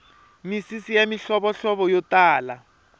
misisi ya mihlovohlovo yo tala